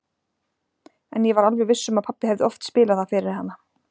En ég var alveg viss um að pabbi hefði oft spilað það fyrir hana.